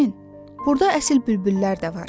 Nərmin, burda əsl bülbüllər də var.